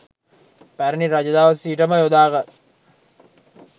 පැරණි රජ දවස සිට ම යොදාගත්